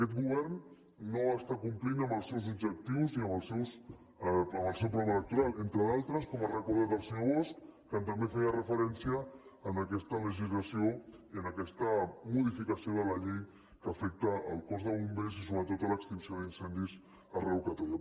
aquest govern no està complint els seus objectius ni el seu programa electoral que entre d’altres com ha recor·dat el senyor bosch també feia a aquesta legislació i a aquesta modificació de la llei que afecta el cos de bom·bers i sobretot l’extinció d’incendis arreu de catalunya